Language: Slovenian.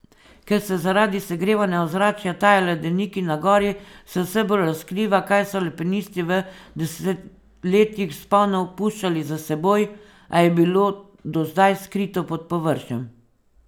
Ker se zaradi segrevanja ozračja tajajo ledeniki na gori, se vse bolj razkriva, kaj so alpinisti v desetletjih vzponov puščali za seboj, a je bilo do zdaj skrito pod površjem.